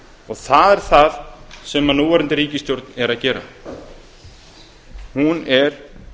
og það er það sem núverandi ríkisstjórn er að gera hún er